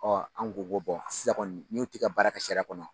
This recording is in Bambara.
Ɔ an ko ko bɔn n'u ti ka baara ka siraya kɔnɔ